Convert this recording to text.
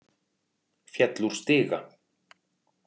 Féll úr stiga